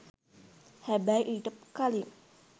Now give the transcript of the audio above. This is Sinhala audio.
හැබැයි ඊට කලින්